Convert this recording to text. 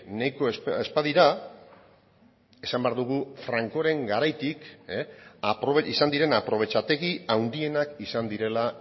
nahiko ez badira esan behar dugu francoren garaitik izan diren aprobetxategi handienak izan direla